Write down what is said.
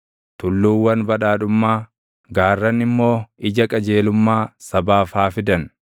Tulluuwwan badhaadhummaa, gaarran immoo ija qajeelummaa sabaaf haa fidan.